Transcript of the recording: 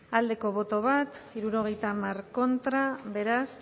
bat boto alde setenta contra beraz